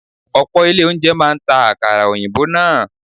Ọ̀pọ̀ ilé oúnjẹ máa ń ta àkàrà òyìnbó náà.